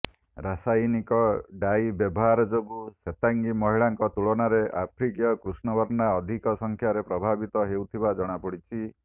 ରସାୟନିକ dye ବ୍ୟବହାର ଯୋଗୁ ଶ୍ୱେତାଙ୍ଗୀ ମହିଳାଙ୍କ ତୁଳନାରେ ଆଫ୍ରିକୀୟ କୃଷ୍ଣବର୍ଣ୍ଣା ଅଧିକ ସଂଖ୍ୟାରେ ପ୍ରଭାବିତ ହେଉଥିବା ଜଣାପଡିଛି